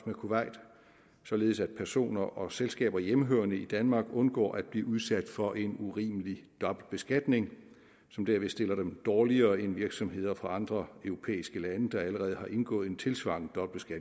med kuwait således at personer og selskaber hjemmehørende i danmark undgår at blive udsat for en urimelig dobbeltbeskatning som derved stiller dem dårligere end virksomheder fra andre europæiske lande der allerede har indgået en tilsvarende